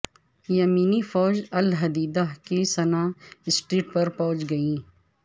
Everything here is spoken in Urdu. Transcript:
یمنی فوج الحدیدہ کی صنعاء اسٹریٹ پر پہنچ گئی